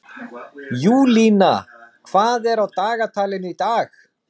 Júlína, hvað er á dagatalinu í dag?